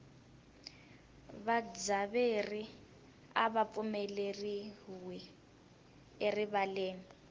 vadzaberi ava pfumeleriwi erivaleni